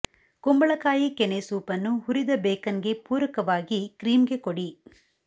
ಕುಂಬಳಕಾಯಿ ಕೆನೆ ಸೂಪ್ ಅನ್ನು ಹುರಿದ ಬೇಕನ್ಗೆ ಪೂರಕವಾಗಿ ಕ್ರೀಮ್ಗೆ ಕೊಡಿ